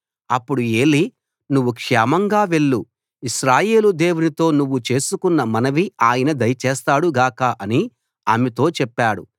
అప్పుడు ఏలీ నువ్వు క్షేమంగా వెళ్లు ఇశ్రాయేలు దేవునితో నువ్వు చేసికొన్న మనవి ఆయన దయచేస్తాడు గాక అని ఆమెతో చెప్పాడు